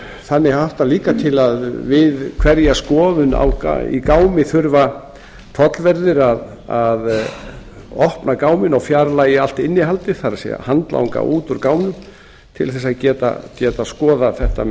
þannig háttar líka til að við hverja skoðun í gámi þurfa tollverðir að opna gámi og fjarlægja allt innihaldið það er handlanga út úr gámnum til þess að geta skoðað þetta með